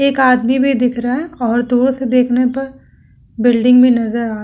एक आदमी भी दिख रहा है और दूर से देखने पर बिल्डिंग भी नज़र आ --